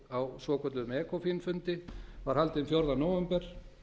á svokölluðum ecofin fundi var haldinn fjórða nóvember